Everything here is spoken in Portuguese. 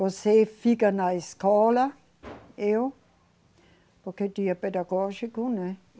Você fica na escola, eu, porque tinha pedagógico, né?